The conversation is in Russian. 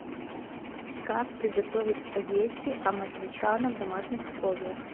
как приготовить спагетти аматричана в домашних условиях